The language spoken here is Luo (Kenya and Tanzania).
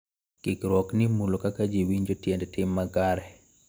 Kikruok ni mulo kaka ji winjo tiend tim makare .